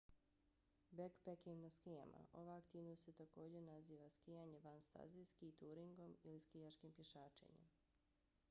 bekpeking na skijama: ova aktivnost se također naziva skijanje van staze ski-turingom ili skijaškim pješačenjem